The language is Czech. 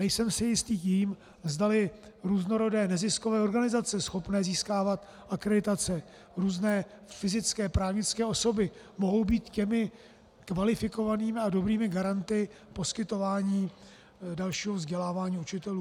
Nejsem si jist tím, zdali různorodé neziskové organizace schopné získávat akreditace, různé fyzické, právnické osoby mohou být těmi kvalifikovanými a dobrými garanty poskytováni dalšího vzdělávání učitelů.